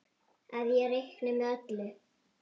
Að ég reikni með öllu.